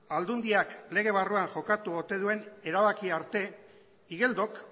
aldundiak lege barruan jokatu ote duen erabaki arte igeldok